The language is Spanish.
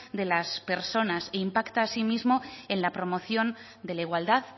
de las personas e impacta asimismo en la promoción de la igualdad